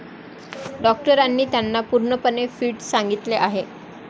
डॉक्टरांनी त्यांना पूर्णपणे फिट सांगितले आहे.